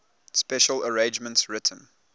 special arrangements written